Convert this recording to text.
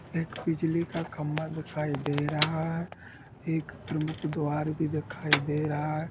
एक बिजली का खम्भा दिखाई दे रहा है एक प्रमुख द्वार भी दिखाई दे रहा है।